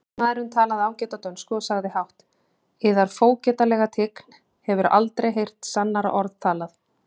Lögmaðurinn talaði ágæta dönsku og sagði hátt:-Yðar fógetalega tign hefur aldrei heyrt sannara orð talað!